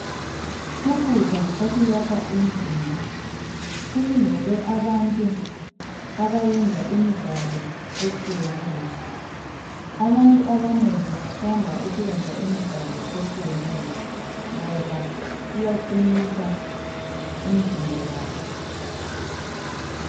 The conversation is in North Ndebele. Ukudla okuyakha umzimba kulungele abantu abayenza imidlalo etshiyeneyo. Abantu abanengi bathanda ukwenza imidlalo etshiyeneyo ngoba iyaqinisa imizimba yabo.